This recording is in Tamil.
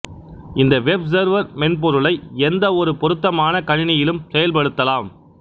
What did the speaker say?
இந்த வெப் சர்வர் மென்பொருளை எந்தவொரு பொருத்தமான கணினியிலும் செயல்படுத்தலாம்